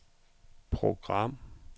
program